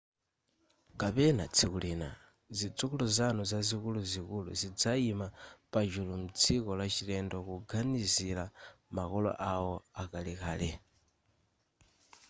kapena tsiku lina zidzukulu zanu zikuluzikulu zidzayima pachulu mdziko lachilendo kuganizira makolo awo akalekale